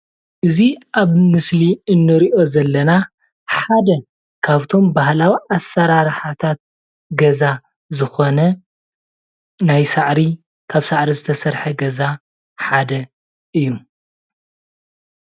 እዚ ኣብ ምስሊ እንርእዮ ዘለና ሓደ ካብቶም ባሃላዊ ኣሰራርሓታት ገዛ ዝኾነ ናይ ሳዕሪ ካብ ሳዕሪ ዝተሰረሐ ገዛ ሓደ እዩ።